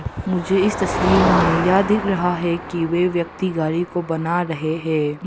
मुझे इस तस्वीर में यह दिख रहा है कि वह व्यक्ति गाड़ी को बना रहे हैं।